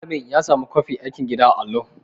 Malamin ya samu mu kwafi aikin gida daga allo.